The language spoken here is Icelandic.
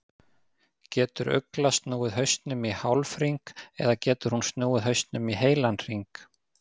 Getur uglan snúið hausnum í hálfhring eða getur hún snúið hausnum í heilan hring?